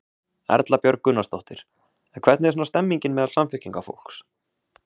Erla Björg Gunnarsdóttir: En hvernig er svona stemningin meðal Samfylkingarfólks?